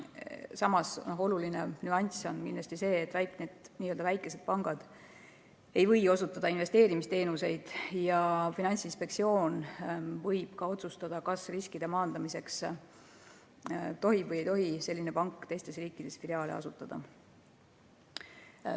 Samas, oluline nüanss on kindlasti see, et n-ö väikesed pangad ei või osutada investeerimisteenuseid ja Finantsinspektsioon võib riskide maandamiseks otsustada, kas selline pank tohib või ei tohi teistes riikides filiaale asutada.